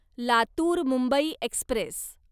Latur Mumbai Express